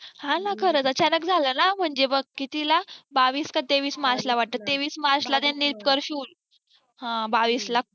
हा न खरच अचानक झालं न म्हणजे बघ कितीला बावीस का तेवीस मार्च ला वाटत तेवीस मार्च ला त्यांनी confuse हा बावीस ला